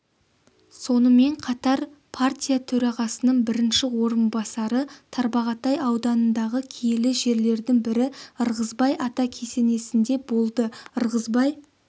сонымен қатар партия төрағасының бірінші орынбасары тарбағатай ауданындағы киелі жерлердің бірі ырғызбай ата кесенесінде болды ырғызбай